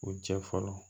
U jɛ fɔlɔ